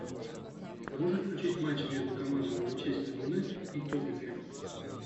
можешь включить матч между командами манчестер юнайтед и тоттенхэм